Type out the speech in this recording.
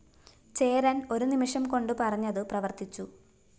ചേരന്‍ ഒരു നിമിഷം കൊണ്ട് പറഞ്ഞതു പ്രവര്‍ത്തിച്ചു